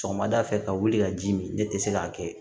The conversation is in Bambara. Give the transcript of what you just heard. Sɔgɔmada fɛ ka wuli ka ji min ne tɛ se k'a kɛ